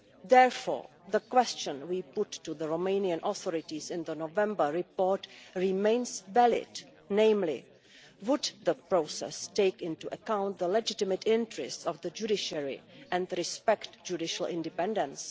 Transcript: Therefore the question we put to the Romanian authorities in the November report remains valid, namely whether the process would take into account the legitimate interests of the judiciary and respect judicial independence.